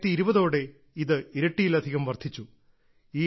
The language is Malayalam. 2020ഓടെ ഇത് ഇരട്ടിയിലധികം വർധിച്ചു